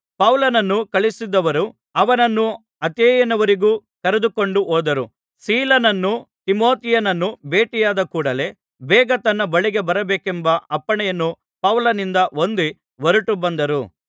ಪೌಲನನ್ನು ಕಳುಹಿಸಿದವರು ಅವನನ್ನು ಅಥೇನೆಯವರೆಗೂ ಕರೆದುಕೊಂಡು ಹೋದರು ಸೀಲನನ್ನೂ ತಿಮೊಥೆಯನನ್ನೂ ಭೇಟಿಯಾದ ಕೂಡಲೆ ಬೇಗ ತನ್ನ ಬಳಿಗೆ ಬರಬೇಕೆಂಬ ಅಪ್ಪಣೆಯನ್ನು ಪೌಲನಿಂದ ಹೊಂದಿ ಹೊರಟುಬಂದರು